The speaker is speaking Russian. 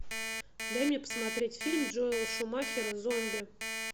дай мне посмотреть фильм джоэла шумахера зомби